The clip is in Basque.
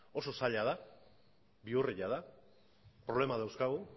oso zaila da bihurria da problemak dauzkagu